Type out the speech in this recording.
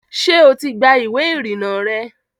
ṣé o ti gba ìwé ìrìnnà rẹ?